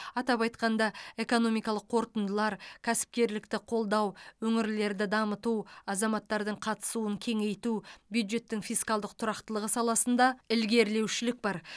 атап айтқанда экономикалық қорытындылар кәсіпкерлікті қолдау өңірлерді дамыту азаматтардың қатысуын кеңейту бюджеттің фискалдық тұрақтылығы саласында ілгерілеушілік бар